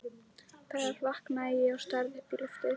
Þar vaknaði ég og starði upp í loftið.